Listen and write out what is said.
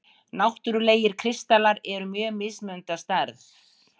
Náttúrlegir kristallar eru mjög mismunandi að stærð.